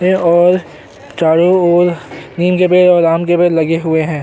और चारों और नीम के पेड़ और आम के पेड़ लगे हुए हैं।